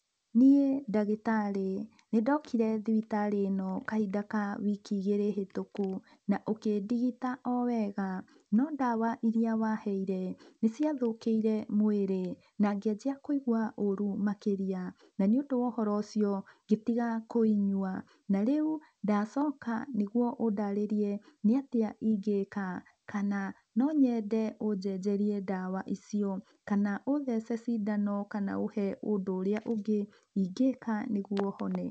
Niĩ ndagĩtarĩ nĩ ndokire thibitarĩ ino kahinda ka wiki igĩrĩ hĩtũkũ na ũkĩndigita o wega no ndawa irĩa wa heire, nĩ cia thũkĩire mwĩrĩ na ngĩanjia kũigwa ũrũ makĩria. Na nĩ ũndũ wohoro ũcio ngĩtiga kũinyua na rĩũ ndacoka nĩgũo ũndarĩrie nĩ atĩa ingĩka. Kana no nyende ũjenjerie ndawa icio, kana ũthece cindano kana ũhe ũndũ ũrĩa ũngĩ ingĩka nĩgũo honee.